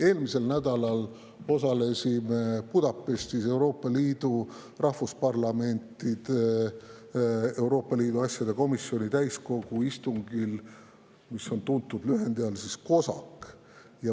Eelmisel nädalal osalesime Budapestis Euroopa Liidu rahvusparlamentide Euroopa Liidu asjade komisjonide täiskogu istungil, mis on tuntud lühendi COSAC all.